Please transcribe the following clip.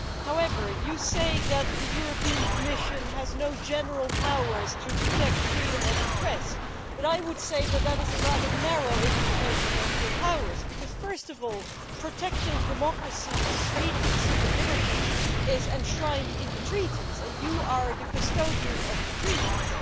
However, you say that the European Commission has no general powers to protect freedom of the press, but I would say that that is a rather narrow interpretation of your powers, because first of all, protecting democracy and freedom and civil liberties is enshrined in the treaties, and you are the custodian of the treaties.